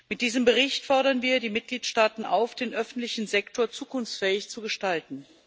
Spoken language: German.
Mit diesem Bericht fordern wir die Mitgliedstaaten auf, den öffentlichen Sektor zukunftsfähig zu gestalten.